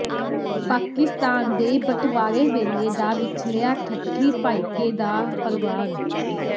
ਪਾਕਿਸਤਾਨ ਦੇ ਬਟਵਾਰੇ ਵੇਲੇ ਦਾ ਵਿਛੜਿਆ ਠੱਠੀ ਭਾਈਕੇ ਦਾ ਪਰਵਾਰ